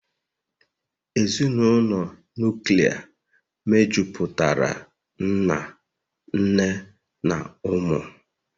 Ezinụlọ nuklia mejupụtara nna, nne na ụmụ